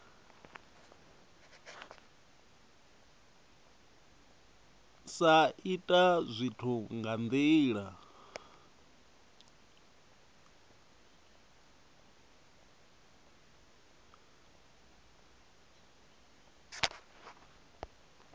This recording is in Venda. sa ita zwithu nga ndila